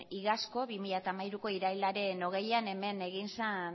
iazko bi mila hamalauko irailaren hogeian hemen egin zen